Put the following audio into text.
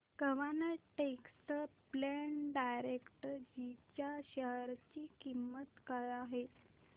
quant tax plan डायरेक्टजी च्या share ची किंमत काय आहे